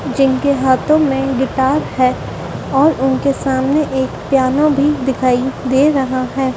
जिनके हाथों में गिटार है और उनके सामने एक पियानो भी दिखाई दे रहा है।